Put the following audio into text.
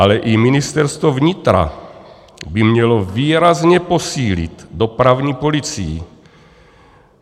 Ale i Ministerstvo vnitra by mělo výrazně posílit dopravní policii.